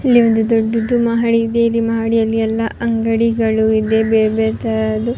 ಇಲ್ಲಿ ಒಂದು ದೊಡ್ಡದು ಮಹಡಿ ಇದೆ ಇಲ್ಲಿ ಮಹಡಿಯಲ್ಲಿ ಎಲ್ಲ ಅಂಗಡಿ ಗಳು ಇದೆ ಬೇರೆ ಬೇರೆ ತರದು.